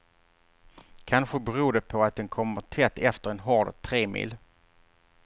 Kanske beror det på att den kommer tätt efter en hård tremil.